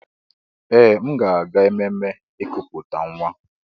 Ee! M ga-aga ememme ikuputa nwa.